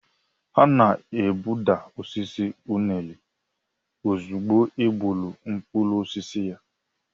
A na-egbuda osisi unere ozugbo e gbuuru mkpụrụ osisi ya.